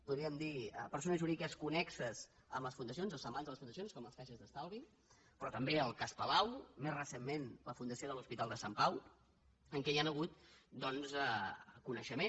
podríem dir persones jurídiques connexes amb les fundacions o semblants a les fundacions com les caixes d’estalvi però també el cas palau més recentment la fundació de l’hospital de sant pau en què hi han hagut doncs coneixement